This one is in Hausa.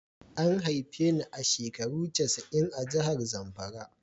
A haife ni a shekaru casa'in a'jihar Zamfara.